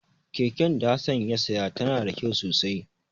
Keken da Hassan ya saya tana da kyau sosai.